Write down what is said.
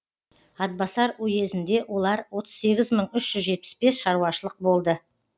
атбасар уезінде олар отыз сегіз мың үш жүз жетпіс бес шаруашылық болды